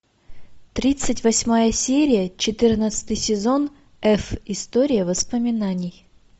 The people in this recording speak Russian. тридцать восьмая серия четырнадцатый сезон эф история воспоминаний